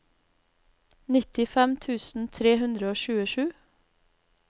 nittifem tusen tre hundre og tjuesju